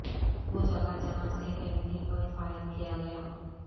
وہ جگہ جہاں سے کینیڈی پر فائر کیا گیا